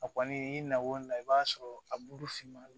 A kɔni i na o la i b'a sɔrɔ a bulu finman don